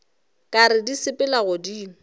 ka re di sepela godimo